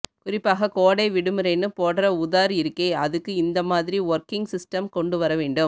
குறிப்பாக கோடை விடுமுறைன்னு போடற உதார் இருக்கே அதுக்கு இந்த மாதிரி ஒர்கிங் சிஸ்டெம் கொண்டு வரவேண்டும்